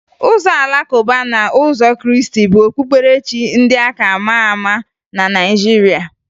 Ụzọ Alakụba na ndị ụzọ Krịịstị bụ okpukperechi ndị a ka maa ama na Naịjiria